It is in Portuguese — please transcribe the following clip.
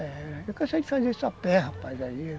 É, eu cansei de fazer só pé, rapaz, aí.